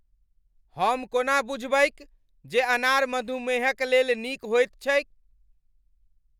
हम कोना बुझबैक जे अनार मधुमेहक लेल नीक होइत छैक ?